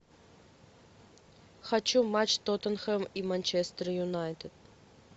хочу матч тоттенхэм и манчестер юнайтед